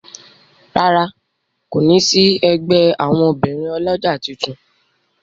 ràrá kò ní sí ègbé àwọn obìrin olójà títún.